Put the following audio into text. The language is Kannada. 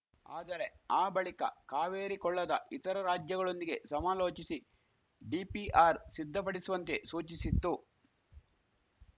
ಆದರೆ ಆ ಬಳಿಕ ಕಾವೇರಿ ಕೊಳ್ಳದ ಇತರ ರಾಜ್ಯಗಳೊಂದಿಗೆ ಸಮಾಲೋಚಿಸಿ ಡಿಪಿಆರ್‌ ಸಿದ್ಧಪಡಿಸುವಂತೆ ಸೂಚಿಸಿತ್ತು